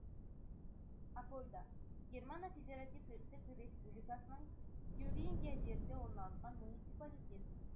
апольда германия федеративтік республикасының тюрингия жерінде орналасқан муниципалитет